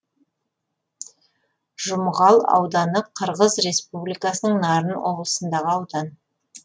жұмғал ауданы қырғыз республикасының нарын облысындағы аудан